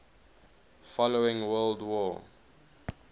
following world war